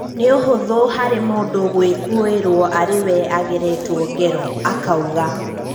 "Nĩũhũtho harĩ mũndũ gũikũĩrwo arĩwe ageretwo ngero," akauga.